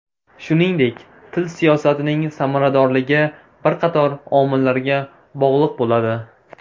Shuningdek, til siyosatining samaradorligi bir qator omillarga bog‘liq bo‘ladi.